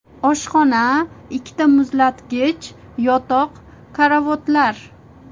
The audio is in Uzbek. Oshxona, ikkita muzlatgich, yotoq, karavotlar.